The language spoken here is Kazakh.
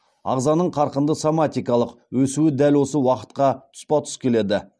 ағзаның қарқынды соматикалық өсуі дәл осы уақытқа тұспа тұс келеді